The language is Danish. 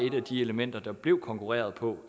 et af de elementer der blev konkurreret på